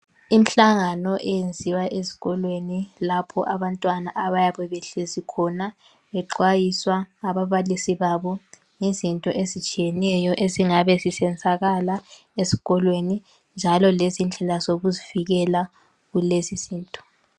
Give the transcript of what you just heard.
Imhlangano eyenziwa ezikolweni lapho abantwana abayabe behlezi khona bexwayiswa ngababalisi babo ngezinto ezitshiyeneyo ezingabe zisenzakala ezikolweni njalo lezindlela zokuzivikela kulezizinto.